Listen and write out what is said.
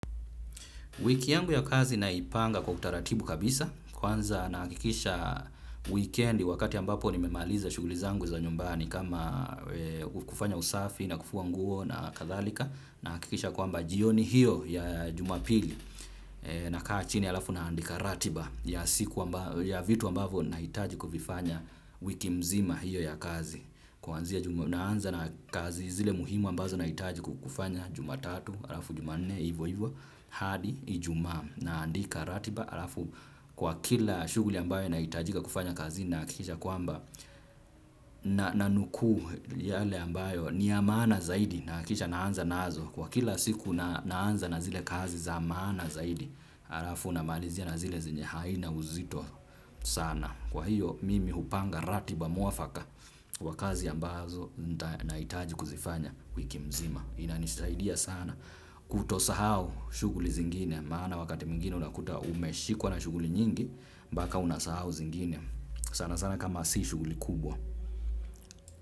Wiki yangu ya kazi naipanga kwa utaratibu kabisa. Kwanza nahakikisha wikendi wakati ambapo nimemaliza shughuli zangu za nyumbani kama kufanya usafi na kufua nguo na kathalika. Nahakikisha kwamba jioni hiyo ya jumapili nakaa chini halafu naandika ratiba ya vitu ambavyo nahitaji kuvifanya wiki mzima hiyo ya kazi. Kuanzia naanza na kazi zile muhimu ambazo nahitaji kufanya jumatatu halafu jumanne ivo ivo hadi ijumaa. Naandika ratiba halafu kwa kila shughuli ambayo nahitajika kufanya kazini nahakikisha kwamba nanukuu yale ambayo ni ya maana zaidi nahakikisha naanza nazo kwa kila siku naanza na zile kazi za maana zaidi halafu namalizia na zile zenye haina uzito sana. Kwa hiyo mimi hupanga ratiba muafaka kwa kazi ambazo nahitaji kuzifanya wiki mzima. Inanisaidia sana kutosahau shughuli zingine maana wakati mwingine unakuta umeshikwa na shughuli nyingi mpaka unasahau zingine sana sana kama si shughuli kubwa.